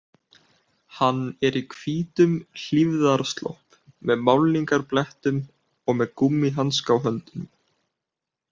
Hann er í hvítum hlífðarslopp með málningarblettum og með gúmmíhanska á höndunum